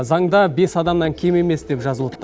заңда бес адамнан кем емес деп жазылыпты